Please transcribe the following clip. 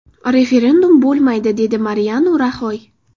Referendum bo‘lmaydi”, dedi Mariano Raxoy.